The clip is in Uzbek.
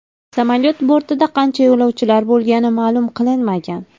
Samolyot bortida qancha yo‘lovchilar bo‘lgani ma’lum qilinmagan.